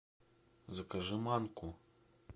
закажи манку